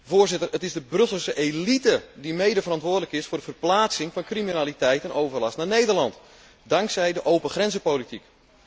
Voorzitter, het is de Brusselse elite die medeverantwoordelijk is voor de verplaatsing van criminaliteit en overlast naar Nederland dankzij de open grenzen politiek.